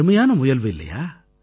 அருமையான முயல்வு இல்லையா